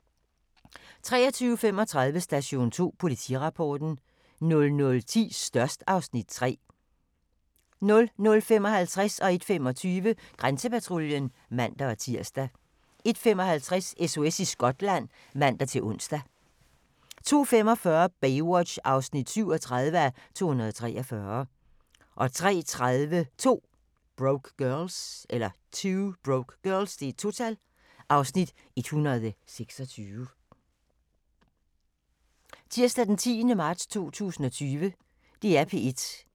23:35: Station 2: Politirapporten 00:10: Størst (Afs. 3) 00:55: Grænsepatruljen (man-tir) 01:25: Grænsepatruljen (man-tir) 01:55: SOS i Skotland (man-ons) 02:45: Baywatch (37:243) 03:30: 2 Broke Girls (Afs. 126)